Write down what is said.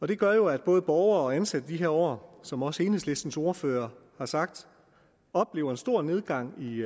det gør jo at både borgere og ansatte de her år som også enhedslistens ordfører har sagt oplever en stor nedgang i